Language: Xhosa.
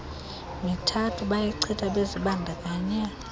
mithathu bayichitha bezibandakanye